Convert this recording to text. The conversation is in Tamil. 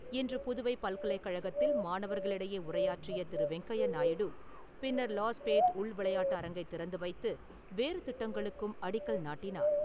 இன்று புதுவை பல்கலைக்கழகத்தில் மாணவர்களிடையே உரையாற்றிய திரு. வெங்கையநாயுடு பின்னர் லாஸ்பேட் உள்விளையாட்டு அரங்கை திறந்து வைத்து வேறு திட்டங்களுக்கும் அடிக்கல் நாட்டினார்.